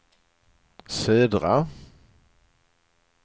södra